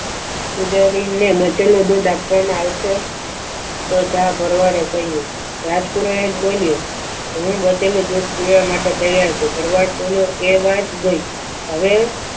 પૂજારીને બચેલું દૂધ આપવામાં આવશે તો જા ભરવાડે કહ્યું રાજ પુરોહિતે કહ્યું હું બચેલું દૂધ પીવા માટે તૈયાર છું ભરવાડ બોલ્યો એ વાત ગઈ હવે